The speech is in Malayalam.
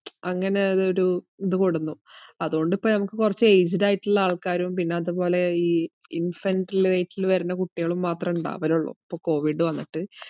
അങ്ങനെ അതൊരു ഇതു കൊണ്ടുവന്നു. അതുകൊണ്ട് ഇപ്പൊ നമ്മക്ക് കൊറച് aged ആയിട്ടിള്ള ആൾക്കാരും പിന്ന അതുപോലെ ഈ infant ലെ വരണ കുട്ടികളും മാത്രേ ഇണ്ടാവലുള്ളൂ ഇപ്പൊ കോവിഡ് വന്നിട്ട്,